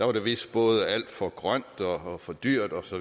var det vist både alt for grønt og for dyrt osv